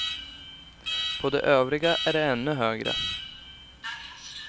På de övriga är det ännu högre.